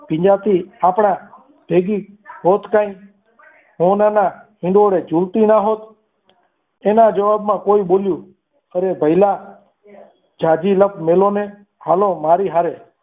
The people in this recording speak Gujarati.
વિજાતી આપણા ભેગી હોત કઈ સોનાના હિંડોળે ઝૂલતી ના હોત એના જવાબમાં કોઈ બોલ્યું અરે ભઈલા જાજી લપ મેલો ને હાલો મારી હારે